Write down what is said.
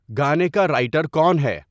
گانے کا رائیٹر کون ہے